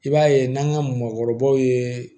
I b'a ye n'an ka mɔgɔkɔrɔbaw ye